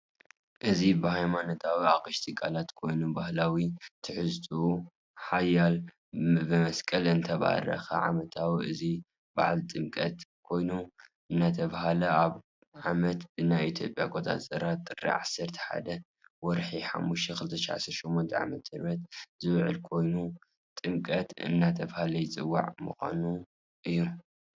እዚ ብሃይማኖታዊ አቅሸቲ ቃላይ ኾይኑ ባህላዊ ትሕዝትኡ ሓልዪ ብመስቀል እዳተባረከ ዓመታዊ እዚ ባዓል ጥምቀት ኾይኑ እንዳተባሃለ አብ ዓመት ብናይ ኢትዮጵያ አቋፆፂራ ጥር 11/05/2018ዓ/ም ዝውዒል ኮይኑ ጥምቀት እዳተባለ ይፂዋዒ ምኻኑ እዮ።